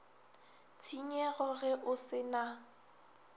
tshenyego ge o se na